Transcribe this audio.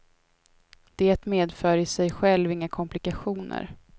Det medför i sig själv inga komplikationer.